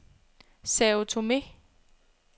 Sao Tomé